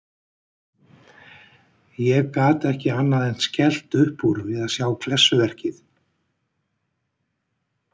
Ég gat ekki annað en skellt upp úr við að sjá klessuverkið.